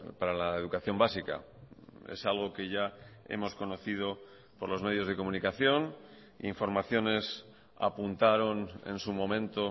para la educación básica es algo que ya hemos conocido por los medios de comunicación informaciones apuntaron en su momento